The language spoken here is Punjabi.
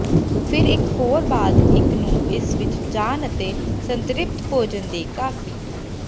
ਫਿਰ ਇਕ ਹੋਰ ਬਾਅਦ ਇੱਕ ਨੂੰ ਇਸ ਵਿਚ ਜਾਣ ਅਤੇ ਸੰਤ੍ਰਿਪਤ ਭੋਜਨ ਦੇ ਕਾਫ਼ੀ